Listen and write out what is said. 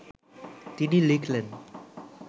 তিনি লিখলেন